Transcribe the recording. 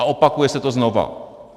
A opakuje se to znovu.